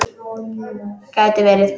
Gæti verið.